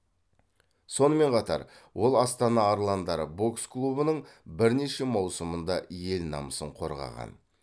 сонымен қатар ол астана арландары бокс клубының бірнеше маусымында ел намысын қорғаған